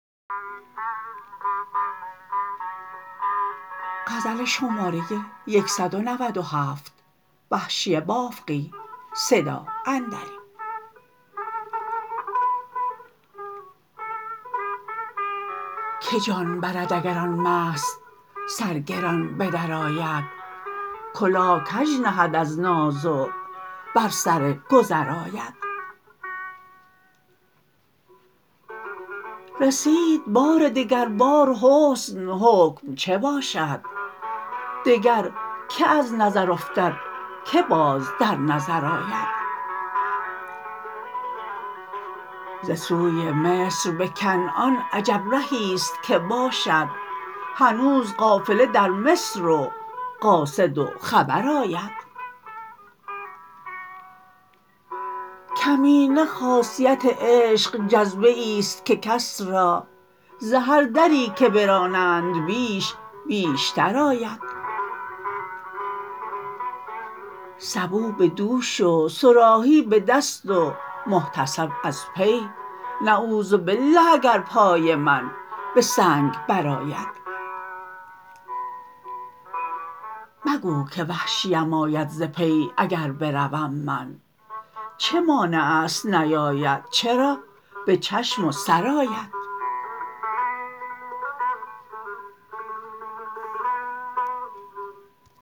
که جان برد اگر آن مست سرگران بدرآید کلاه کج نهد از ناز و بر سرگذر آید رسید بار دگر بار حسن حکم چه باشد دگر که از نظر افتد که باز در نظر آید ز سوی مصر به کنعان عجب رهیست که باشد هنوز قافله در مصر و قاصد و خبر آید کمینه خاصیت عشق جذبه ایست که کس را ز هر دری که پرانند بیش بیشتر آید سبو به دوش و صراحی به دست و محتسب از پی نعوذبالله اگر پای من به سنگ بر آید مگو که وحشیم آید ز پی اگر بروم من چه مانعست نیاید چرا به چشم و سر آید